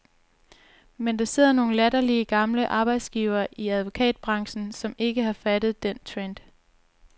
Men der sidder nogle latterlige gamle arbejdsgivere i advokatbranchen, som ikke har opfattet den trend.